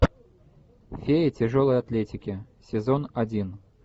фея тяжелой атлетики сезон один